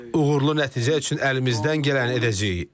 Uğurlu nəticə üçün əlimizdən gələni edəcəyik.